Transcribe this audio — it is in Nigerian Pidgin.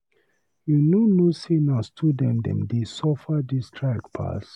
You no know sey na student dem dey suffer dis strike pass.